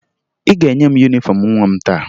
Ị ga-enye m yunifọmụ nwa m taa